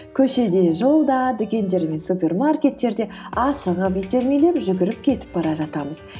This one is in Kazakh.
көшеде жолда дүкендер мен супермаркеттерде асығып итермелеп жүгіріп кетіп бара жатамыз